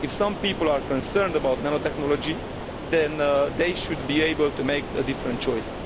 If some people are concerned about nanotechnology, then they should be able to make a different choice.